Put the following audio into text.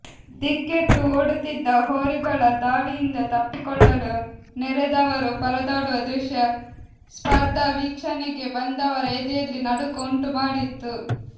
ದಿಕ್ಕೆಟ್ಟು ಓಡುತ್ತಿದ್ದ ಹೋರಿಗಳ ದಾಳಿಯಿಂದ ತಪ್ಪಿಕೊಳ್ಳಲು ನೆರೆದವರು ಪರದಾಡುವ ದೃಶ್ಯ ಸ್ಪರ್ಧಾ ವೀಕ್ಷಣೆಗೆ ಬಂದವರ ಎದೆಯಲ್ಲಿ ನಡುಕ ಉಂಟು ಮಾಡಿತ್ತು